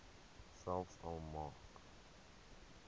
selfs al maak